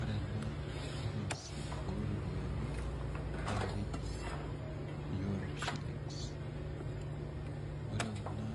Ore ena currency oo ropiyiani naa keji euro shillings. Ore kuna